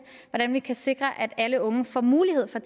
hvordan vi kan sikre at alle unge får mulighed for